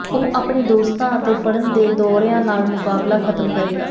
ਉਹ ਆਪਣੇ ਦੋਸਤਾਂ ਅਤੇ ਫੜਨ ਦੇ ਦੌਰਿਆਂ ਨਾਲ ਮੁਕਾਬਲਾ ਖ਼ਤਮ ਕਰੇਗਾ